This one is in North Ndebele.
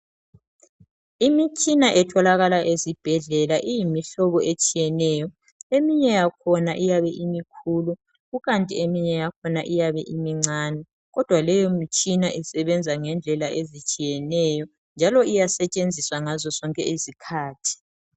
Imitshina etholakala esibhedlela iyimihlobo etshiyeneyo .Eminye yakhona iyabe imikhulu ,kukanti eminye yakhona iyabe imincane .Kodwa leyo mitshina isebenza ngendlela ezitshiyeneyo njalo iyasetshenziswa ngazo zonke izikhathi.